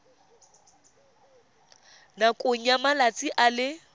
nakong ya malatsi a le